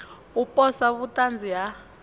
u posa vhut anzi ha